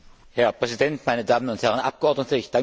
Herr Präsident, meine Damen und Herren Abgeordnete!